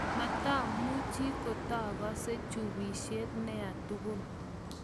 matamuchi kotaagase chubisye niee tugul